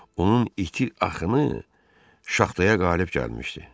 Onun iti axını şaxtaya qalib gəlmişdi.